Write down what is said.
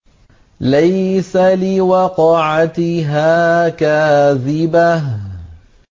لَيْسَ لِوَقْعَتِهَا كَاذِبَةٌ